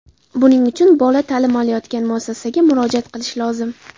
Buning uchun bola ta’lim olayotgan muassasaga murojaat qilish lozim.